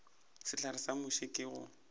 sehlare sa muši ke go